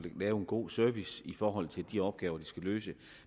lave en god service i forhold til de opgaver de skal løse